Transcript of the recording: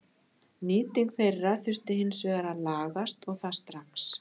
Nýting þeirra þurfi hins vegar að lagast og það strax.